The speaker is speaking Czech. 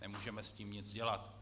Nemůžeme s tím nic dělat.